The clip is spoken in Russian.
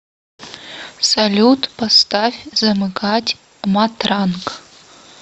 салют поставь замыкать матранг